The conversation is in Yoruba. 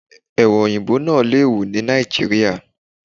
Ẹ̀wà Òyìnbó náà lè wù ni Nàìjíríà.